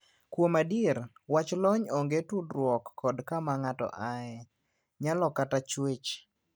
Kuom adier ,wach lony onge tudruok kod kama ng'ato aye ,nyalo kata chuech.